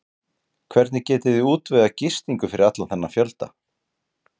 Hvernig getiði útvegað gistingu fyrir allan þennan fjölda?